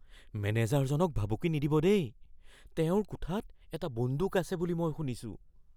মেনেজাৰজনক ভাবুকি নিদিব দেই। তেওঁৰ কোঠাত এটা বন্দুক আছে বুলি মই শুনিছোঁ।